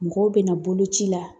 Mɔgɔw bɛna boloci la